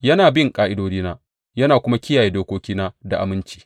Yana bin ƙa’idodina yana kuma kiyaye dokokina da aminci.